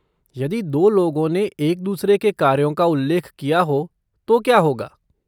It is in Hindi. यदि दो लोगों ने एक दूसरे के कार्यों का उल्लेख किया हो तो क्या होगा?